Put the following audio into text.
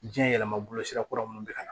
Jiyɛn yɛlɛma bolo sira kura minnu be kana